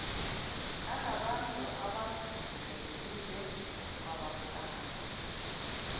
anabantu abangevile kwabahlanu